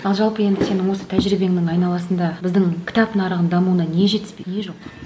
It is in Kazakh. ал жалпы енді сенің осы тәжірибеңнің айналасында біздің кітап нарығының дамуына не жетіспейді не жоқ